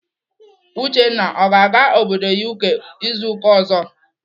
Uchenna ọ ga-aga obodo UK izu ụka ọzọ?